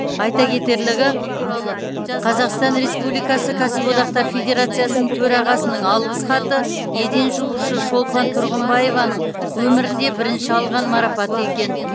айта кетерлігі қазақстан республикасы кәсіпорындар федерациясының төрағасының алғыс хаты еден жуушы шолпан тұрғымбаеваның өмірінде бірінші алған марапаты екен